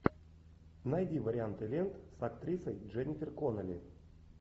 найди варианты лент с актрисой дженнифер коннелли